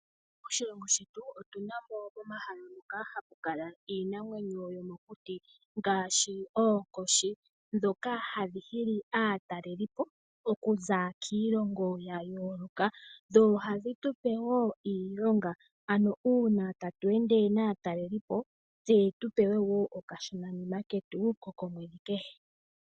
Moshilongo shetu otu na mo omahala moka hamu kala iinamwenyo yomokuti ngaashi oonkoshi ndhoka hadhi hili aatalelipo okuza kiilongo ya yooloka. Dho ohadhi tu pe wo iilonga, ano uuna tatu ende naatalelipo tse tu pewe wo okashonanima ketu ko komwedhi kehe.